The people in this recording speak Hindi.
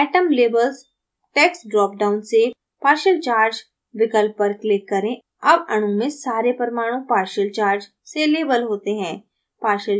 atom labels text drop down से partial charge विकल्प पर click करें अब अणु में सारे परमाणु partial charge से labels होते हैं